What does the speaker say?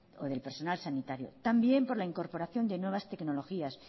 o del personas sanitario también por la incorporación de nuevas tecnologías